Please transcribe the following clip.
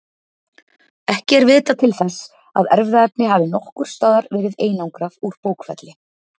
Ekki er vitað til þess að erfðaefni hafi nokkurs staðar verið einangrað úr bókfelli.